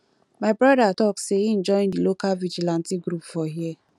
my broda tok sey im join di local vigilantee group for here